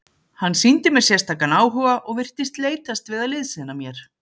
Hann sýndi mér sérstakan áhuga og virtist leitast við að liðsinna mér.